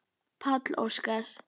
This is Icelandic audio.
Páll Óskar.